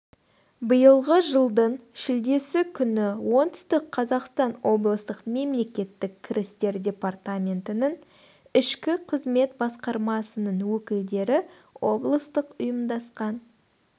биылғы жылдың шілдесі күні оңтүстік қазақстан облыстық мемлекеттік кірістер департаментінің ішкі қызмет басқармасының өкілдері облыстық ұйымдасқан